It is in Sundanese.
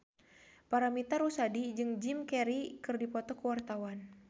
Paramitha Rusady jeung Jim Carey keur dipoto ku wartawan